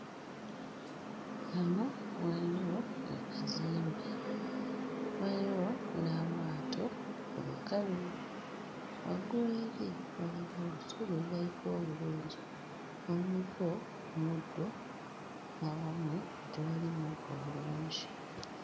Wano waliwo ekizimbe, waliwo n'amaato ku lukalu. Waggulu eri waliwo olusozi olulabika obulungi oluliko omuddo, n'awamu nga tewali muddo bulungi.